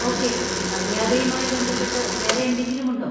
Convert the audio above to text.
Okay, മര്യാദയുമായി ബന്ധപ്പെട്ട് വേറെ എന്തെങ്കിലും ഉണ്ടോ?